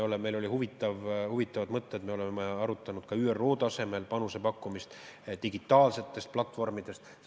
Meil olid huvitavad mõtted, me oleme arutanud ka ÜRO tasemel panuse pakkumist, näiteks digitaalsete platvormide näol.